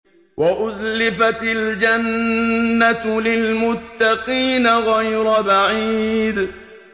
وَأُزْلِفَتِ الْجَنَّةُ لِلْمُتَّقِينَ غَيْرَ بَعِيدٍ